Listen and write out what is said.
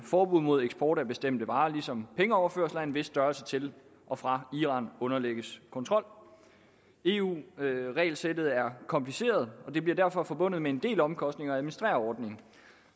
forbud mod eksport af bestemte varer ligesom pengeoverførsler af en vis størrelse til og fra iran underlægges kontrol eu regelsættet er kompliceret og det bliver derfor forbundet med en del omkostninger at administrere ordningen